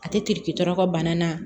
A tɛ tɔɔrɔ ka bana na